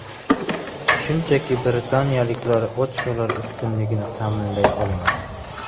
Shunchaki britaniyaliklar ochkolar ustunligini ta’minlay olmadi.